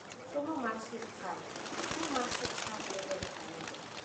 Somo mar Sirkal: Somo mar sirkal medore ameda.